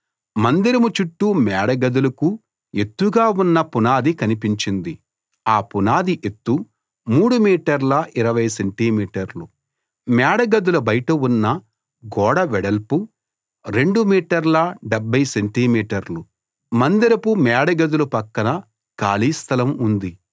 మేడగదుల బయట ఉన్న గోడ వెడల్పు 2 మీటర్ల 70 సెంటి మీటర్లు మందిరపు మేడగదుల పక్కన ఖాళీ స్థలం ఉంది